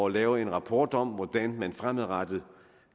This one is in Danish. lave en rapport om hvordan man fremadrettet